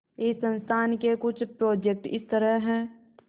इस संस्थान के कुछ प्रोजेक्ट इस तरह हैंः